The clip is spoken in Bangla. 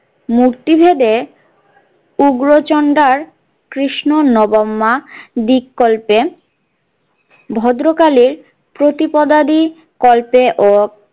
মূর্তি ভেদে উগ্রচণ্ডা কৃষ্ণ নবাম্যা দিক কল্পে ভদ্রকালীর প্রতিপাদিত কল্পে ও।